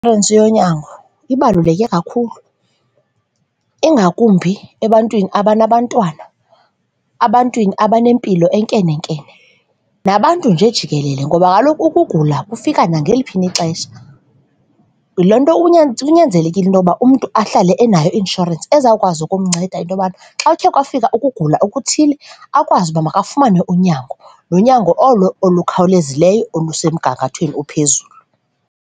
yonyango ibaluleke kakhulu ingakumbi ebantwini abanabantwana, ebantwini abanempilo enkenenkene nabantu nje jikelele ngoba kaloku ukugula kufika nangaliphi na ixesha. Loo nto kunyanzelekile into yokuba umntu ahlale enayo i-insurance ezawukwazi ukumnceda into yobana xa ukhe kwafika ukugula okuthile akwazi uba makafumane unyango, nonyango olo olukhawulezileyo olusemgangathweni ophezulu.